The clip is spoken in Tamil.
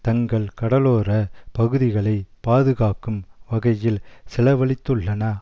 தங்கள் கடலோர பகுதிகளை பாதுகாக்கும் வகையில் செலவழித்துள்ளன